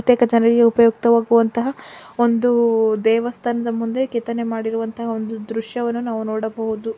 ಒಂದು ದೇವಸ್ಥಾನದ ಮುಂದೆ ನಿಂತಿರುವ ದೃಶ್ಯವನ್ನು ನಾವು ನೋಡಬಹುದು.